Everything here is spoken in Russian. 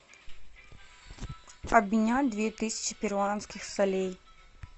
обменять две тысячи перуанских солей